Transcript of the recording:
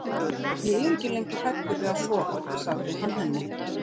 Ég er ekki lengur hræddur við að sofa, sagði hann henni.